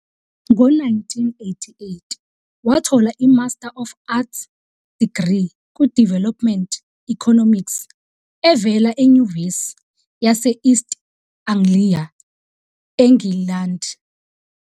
Ngo-1988 wathola i-Master of Arts degree kwi-Development Economics evela eNyuvesi yase-East Anglia eNgilandi.